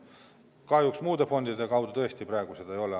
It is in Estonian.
Kahjuks muude fondide kaudu tõesti praegu seda ei ole.